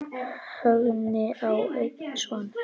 Högni á einn son.